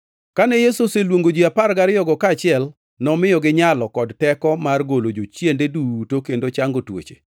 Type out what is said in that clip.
Kane Yesu oseluongo ji apar gariyogo kaachiel, nomiyogi nyalo kod teko mar golo jochiende duto kendo chango tuoche,